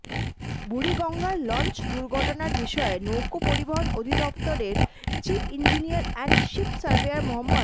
বুড়িগঙ্গার launch দুর্ঘটনার বিষয়ে নৌপরিবহন অধিদফতরের chief engineer and ship surveyor Md